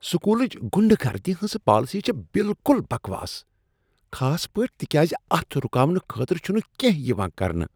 سکولٕچ غنڈہ گردی ہنٛز پالیسی چھ بالکل بکواس خاص پٲٹھۍ تکیاز اتھ رکاونہٕ خٲطرٕ چھنہٕ کیٚنہہ یوان کرنہٕ۔